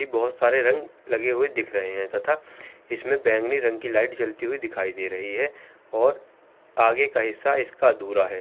एक बहुत सारे रंग लगे हुए दिख रहे हैं तथा इसमें बैगनी रंग की लाइट जलती हुई दिखाई दे रही है और आगे का हिस्सा इसका अधूरा है।